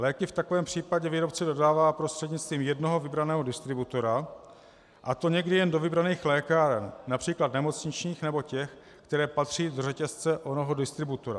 Léky v takovém případě výrobce dodává prostřednictvím jednoho vybraného distributora, a to někdy jen do vybraných lékáren, například nemocničních nebo těch, které patří do řetězce onoho distributora.